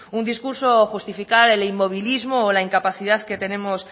un discurso o justificar el inmovilismo o la incapacidad que tenemos